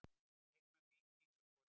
Leikmenn Víkings á skotæfingu.